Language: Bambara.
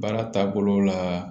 Baara taabolo la